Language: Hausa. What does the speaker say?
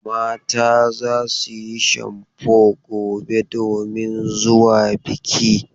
Mata za su yi shamfo gobe domin zuwa biki.